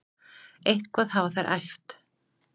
Eitthvað hafa þær æft.